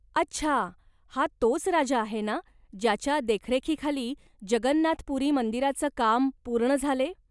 अच्छा, हा तोच राजा आहे ना ज्याच्या देखरेखीखाली जगन्नाथ पुरी मंदिराचं काम पूर्ण झाले.